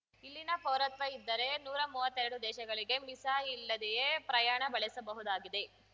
ಇಲ್ಲಿನ ಪೌರತ್ವ ಇದ್ದರೆ ನೂರಾ ಮುವತ್ತೆರಡು ದೇಶಗಳಿಗೆ ವೀಸಾ ಇಲ್ಲದೆಯೇ ಪ್ರಯಾಣ ಬೆಳೆಸಬಹುದಾಗಿದೆ